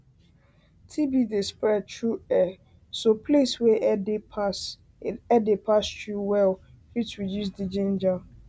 tb dey spread through airso place wey air dey pass through well fit reduce the danger